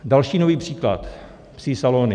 Další nový příklad - psí salony.